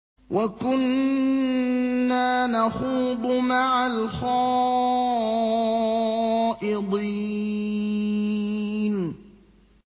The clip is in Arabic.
وَكُنَّا نَخُوضُ مَعَ الْخَائِضِينَ